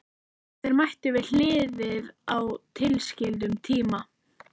Þeir mættu við hliðið á tilskildum tíma.